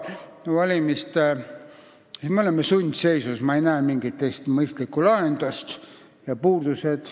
Me oleme sundseisus, ma ei näe mingit teist mõistlikku lahendust.